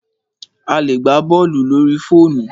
A lè gbá bọ́ọ̀lù lórí fóònù.